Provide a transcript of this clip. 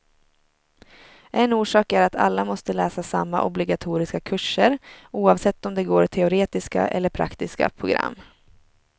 En orsak är att alla måste läsa samma obligatoriska kurser, oavsett om de går teoretiska eller praktiska program.